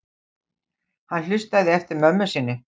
Hann hlustaði eftir mömmu sinni.